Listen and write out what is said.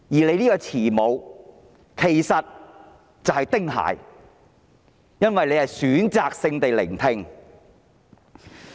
你這位慈母其實是丁蟹，因為你選擇性地聆聽。